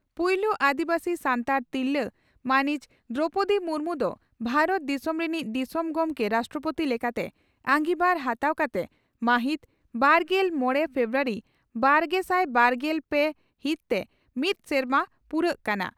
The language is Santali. ᱯᱩᱭᱞᱩ ᱟᱹᱫᱤᱵᱟᱹᱥᱤ ᱥᱟᱱᱛᱟᱲ ᱛᱤᱨᱞᱟᱹ ᱢᱟᱹᱱᱤᱡ ᱫᱨᱚᱣᱯᱚᱫᱤ ᱢᱩᱨᱢᱩ ᱫᱚ ᱵᱷᱟᱨᱚᱛ ᱫᱤᱥᱚᱢ ᱨᱤᱱᱤᱡ ᱫᱤᱥᱚᱢ ᱜᱚᱢᱠᱮ (ᱨᱟᱥᱴᱨᱚᱯᱳᱛᱤ) ᱞᱮᱠᱟᱛᱮ ᱟᱸᱜᱤᱵᱷᱟᱨ ᱦᱟᱛᱟᱣ ᱠᱟᱛᱮ ᱢᱟᱹᱦᱤᱛ ᱵᱟᱨᱜᱮᱞ ᱢᱚᱲᱮ ᱯᱷᱮᱵᱨᱩᱣᱟᱨᱤ ᱵᱟᱨᱜᱮᱥᱟᱭ ᱵᱟᱨᱜᱮᱞ ᱯᱮ ᱦᱤᱛ ᱛᱮ ᱢᱤᱫ ᱥᱮᱨᱢᱟ ᱯᱩᱨᱟᱣᱜ ᱠᱟᱱᱟ ᱾